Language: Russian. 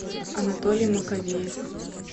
анатолий маковеев